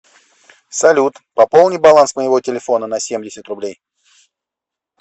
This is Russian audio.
салют пополни баланс моего телефона на семьдесят рублей